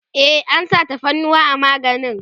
e an sa tafarnuwa a maganin